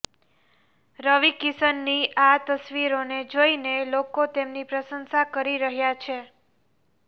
રવિ કિશનની આ તસવીરોને જોઈને લોકો તેમની પ્રશંસા કરી રહ્યા છે